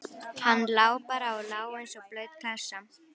Hann lá bara og lá eins og blaut klessa.